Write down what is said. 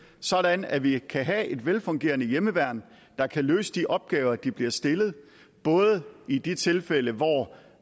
sådan at vi kan have et velfungerende hjemmeværn der kan løse de opgaver de bliver stillet både i de tilfælde hvor